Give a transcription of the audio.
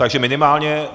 Takže minimálně.